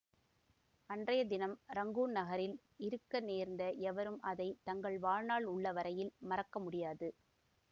அன்றைய தினம் ரங்கூன் நகரில் இருக்க நேர்ந்த எவரும் அதை தங்கள் வாழ்நாள் உள்ள வரையில் மறக்க முடியாது